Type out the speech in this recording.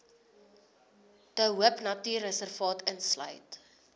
de hoopnatuurreservaat insluit